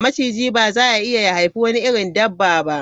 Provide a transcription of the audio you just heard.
Machiji ba za ya iya ya haifi wani irin dabba ba.